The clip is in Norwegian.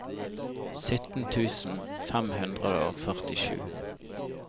sytten tusen fem hundre og førtisju